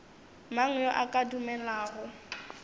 mang yo a ka dumelago